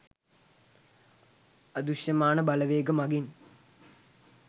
අදෘශ්‍යමාන බලවේග මගින්